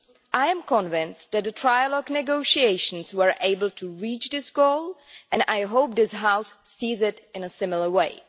I am convinced that the trilogue negotiations were able to reach this goal, and I hope this House sees it in a similar way.